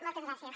moltes gràcies